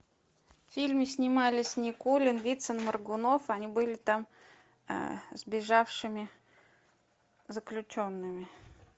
в фильме снимались никулин вицин моргунов они были там сбежавшими заключенными